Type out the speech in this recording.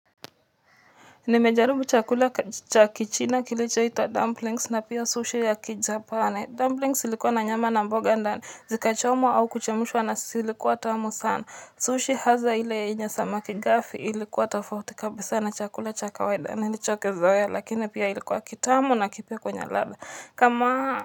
Nimejaribu chakula cha kichina kilichoitwa dumplings na pia sushi ya kijapani. Dumplings ilikuwa na nyama na mboga ndani, zikachomwa au kuchemshwa na zilikuwa tamu sana. Sushi hasaa ile yenye samaki gafi ilikuwa tofauti kabisa na chakula cha kawaida. Nilichokizoea lakini pia ilikuwa kitamu na kipya kwenye ladha. Kama.